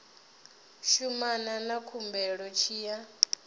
shumana na khumbelo tshi ya